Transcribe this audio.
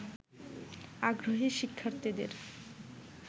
আগ্রহী শিক্ষার্থীদের